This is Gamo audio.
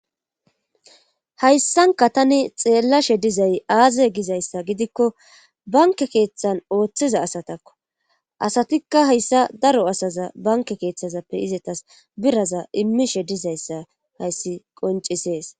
hayssanka tani xeellashe dizay aaze gizayssa gidikko banke keeththan ooththiza asatakko asatikka hayssa daro asaza banke keeththazappe izetas biraza immishe dizayssa hayssi qoncisees